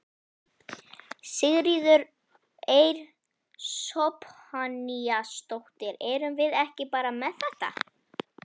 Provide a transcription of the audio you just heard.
Sigríður Eir Zophoníasdóttir: Erum við ekki bara með þetta?